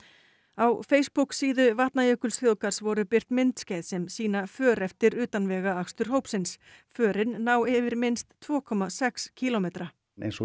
á Facebook síðu Vatnajökulsþjóðgarðs voru birt myndskeið sem sýna för eftir utanvegaakstur hópsins förin ná yfir minnst tvö komma sex kílómetra eins og